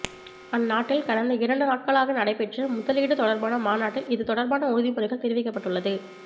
அந்நாட்டில் கடந்த இரண்டு நாட்களாக நடைபெற்ற முதலீடு தொடர்பான மாநாட்டில் இது தொடர்பான உறுதிமொழி தெரிவிக்கப்பட்டுள்ளது